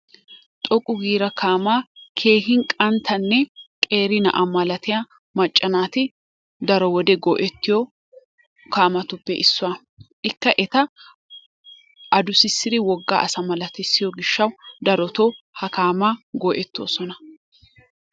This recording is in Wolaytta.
Xoqqu giida kaamaa keehin qanttanne qeeri naa'a malatiyaa macca naati daro wode go''ettiyo kaamatuppe issuwaa. lkka eta addussissidi wogga asa malatissioyo gishshaw darotoo ha kaama go''ettoosona.